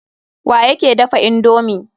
Wa yake dafa indomi?